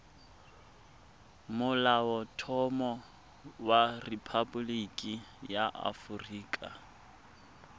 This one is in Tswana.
molaotlhomo wa rephaboliki ya aforika